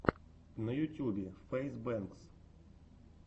на ютюбе фэйз бэнкс